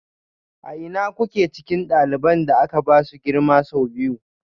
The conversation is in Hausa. A ina kuke cikin ɗaliban da aka ba su girma sau biyu?